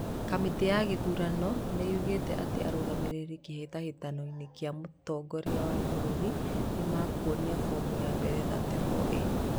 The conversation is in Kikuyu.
Kamĩtĩ ya gĩthurano nĩyugĩte atĩ arũgamĩrĩri wa kĩhĩtahĩtano kĩa mũtongoria wa bũrũri nĩmekwonia fomu ya mbere 34A